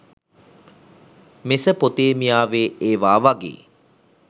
මෙසපොතේමියාවේ ඒවා වගේ